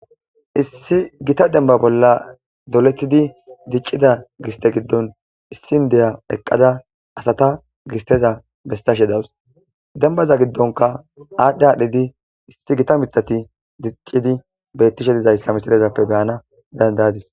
Issi gita demba bola doletidi dic'ida giste giddon issi indiya eqada asata gisteza besashe dawus dembaza gidonka adhdhi adhdhidi issi gita mithati dic'idi betishe dizaysa misilezappe be'ana danda'adis.